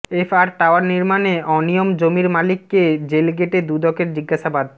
F R tower নির্মাণে অনিয়ম জমির মালিককে জেলগেটে দুদকের জিজ্ঞাসাবাদ